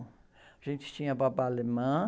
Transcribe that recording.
A gente tinha babá alemã.